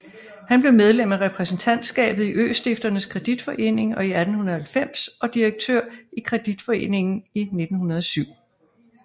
Han blev medlem af repræsentantskabet i Østifternes Kreditforening i 1890 og direktør i kreditforeningen i 1907